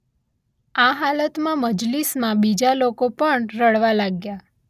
આ હાલતમાં મજલિસમાં બીજા લોકો પણ રડવા લાગ્યા